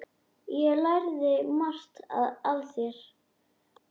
Ég lærði margt af þér.